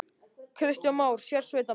Kristján Már: Sérsveitarmenn?